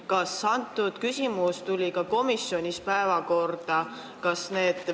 Kas see küsimus tuli ka komisjonis päevakorda?